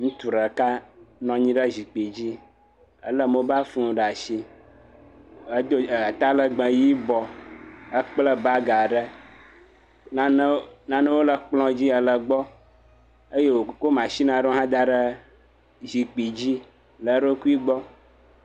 ŋutu ɖeka nɔnyi ɖe zikpi dzi, éle mobal fun ɖasi edó talegbe yibɔ ekple bagaɖe nane nanewo le kplɔ̃ dzi ele gbɔ eye wokó machinaɖewo daɖe zikpi dzi le eɖokui gbɔ